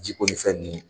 Ji ko ni fɛn nunnu